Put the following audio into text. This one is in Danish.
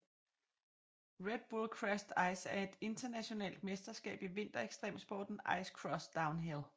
Red Bull Crashed Ice er et internationalt mesterskab i vinter ekstremsporten ice cross downhill